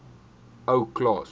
ou klaas